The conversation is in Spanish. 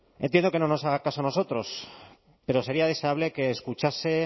entiendo que no nos haga caso a nosotros pero sería deseable que escuchase